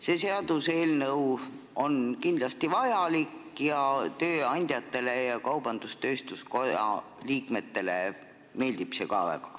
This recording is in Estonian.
See seaduseelnõu on kindlasti vajalik ning tööandjatele ja kaubandus-tööstuskoja liikmetele meeldib see ka väga.